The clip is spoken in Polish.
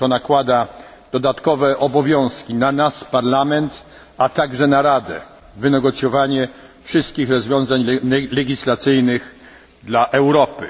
To nakłada dodatkowe obowiązki na nas, Parlament, a także na Radę wynegocjowanie wszystkich rozwiązań legislacyjnych dla Europy.